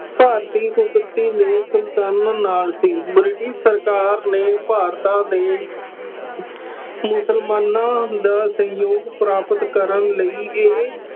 ਭਾਰਤੀ ਕੁਦਰਤੀ ਨੇ ਸੁਲਤਾਨ ਨਾਲ ਸੀ। ਬ੍ਰਿਟਿਸ਼ ਸਰਕਾਰ ਨੇ ਭਾਰਤਾਂ ਦੇ ਮੁਸਲਮਾਨਾਂ ਦਾ ਸਹਿਯੋਗ ਪ੍ਰਾਪਤ ਕਰਨ ਲਈ ਇਹ